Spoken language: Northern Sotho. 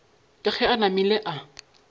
ke ge a namile a